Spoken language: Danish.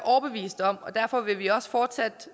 overbevist om og derfor vil vi også fortsat